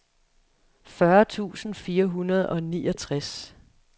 fyrre tusind fire hundrede og niogtres